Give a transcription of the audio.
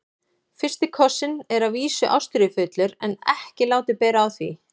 FYRSTI KOSSINN er að vísu ástríðufullur en ekki látið bera á því.